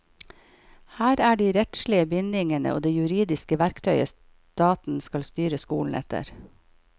Her er de rettslige bindingene og det juridiske verktøyet staten skal styre skolen etter.